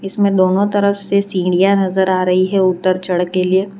इसमें दोनों तरफ से सिड़ियाँ नजर आ रही है उतर चढ़ के लिए --